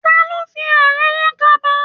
Ta ló fi àrán rán kaba?